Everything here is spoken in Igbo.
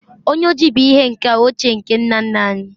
onye oji bu ihe nka ochie nke nna nna anyi